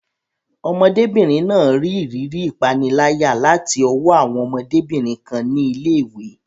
Ọmọdébìnrin náà rí ìrírí ìpániláyà láti ọwọ́ àwọn ọmọdébìnrin kan ní ilé ìwé.